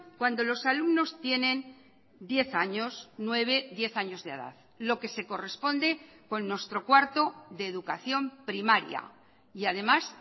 cuando los alumnos tienen diez años nueve diez años de edad lo que se corresponde con nuestro cuarto de educación primaria y además